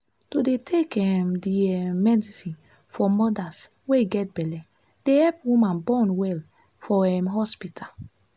to dey take um di um medicine for modas wey get belle dey epp woman born well for um hospita.